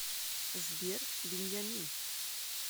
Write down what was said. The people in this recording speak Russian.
сбер беньямин